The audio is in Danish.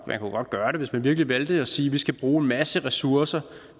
gøre det hvis man virkelig valgte at sige at man skal bruge en masse ressourcer